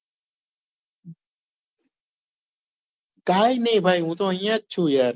કાઈ નહિ ભાઈ હું તો અહિયાં જ છુ યાર